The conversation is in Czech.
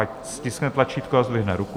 Ať stiskne tlačítko a zdvihne ruku.